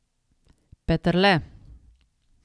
Peterle!